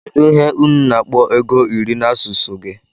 kedu ihe unu na akpọ ego iri na asụsụ gi?